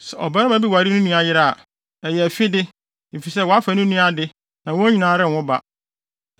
“ ‘Sɛ ɔbarima bi ware ne nua yere a, ɛyɛ afide, efisɛ wafa ne nua ade na wɔn nyinaa renwo ba.